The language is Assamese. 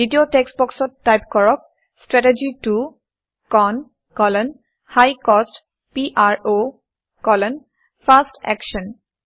দ্বিতীয় টেক্সট্ বক্সত টাইপ কৰক - strategy 2 CON high cost PRO fast Action